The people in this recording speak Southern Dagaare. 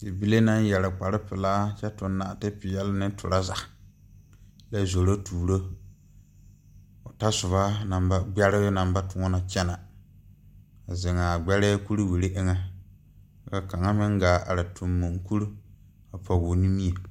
Bibile naŋ yeere kpare pelaa kyɛ tu naate peɛle ne traza kyɛ zoro tuuro o ta soba naŋ ba toɔ gbɛre naŋ ba toɔne kyɛne a zeŋa gbɛrɛ kuriwiire eŋa ka kaŋa meŋ gaa are tuge moɔ kuri a pɔge o nimie.